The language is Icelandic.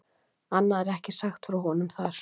Annað er ekki sagt frá honum þar.